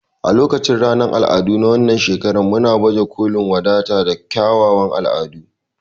A lokacin ranar al'adu na wannan shekara muna baje kolin wadata da kyawawan al'adunmu.